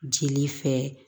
Jeli fɛ